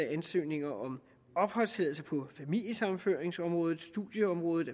ansøgninger om opholdstilladelse på familiesammenføringsområdet studieområdet